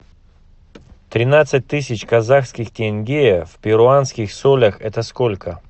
тринадцать тысяч казахских тенге в перуанских солях это сколько